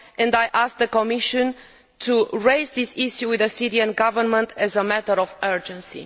I ask the Commission to raise this issue with the Syrian Government as a matter of urgency.